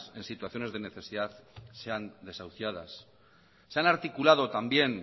en situaciones de necesidad sean desahuciadas se han articulado también